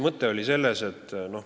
Mis oli selle mõte?